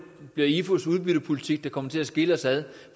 bliver ifus udbyttepolitik der kommer til at skille os ad